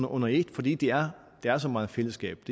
under et fordi der er så meget fællesskab